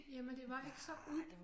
Jamen det var ikke så